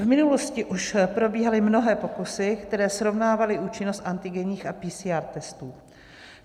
V minulosti už probíhaly mnohé pokusy, které srovnávaly účinnost antigenních a PCR testů.